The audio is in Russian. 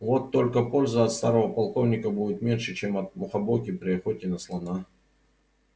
вот только пользы от старого полковника будет меньше чем от мухобойки при охоте на слона